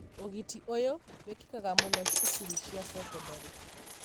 ũgiti ũyũ wĩkĩkaga mũno cukuru cia cekondarĩ.